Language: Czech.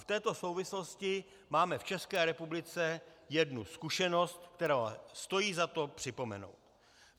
V této souvislosti máme v České republice jednu zkušenost, kterou stojí za to připomenout.